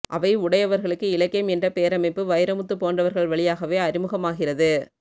அவை உடையவர்களுக்கு இலக்கியம் என்ற பேரமைப்பு வைரமுத்து போன்றவர்கள் வழியாகவே அறிமுகமாகிறது